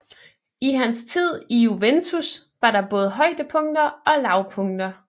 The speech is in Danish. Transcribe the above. I hans tid i Juventus var der både højdepunkter og lavpunkter